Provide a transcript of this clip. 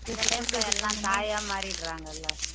சில time ல எல்லாம் தாயா மாறிடுறாங்கல்ல